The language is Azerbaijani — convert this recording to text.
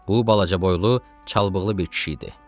Bu balacaboylu, çalpbığılı bir kişi idi.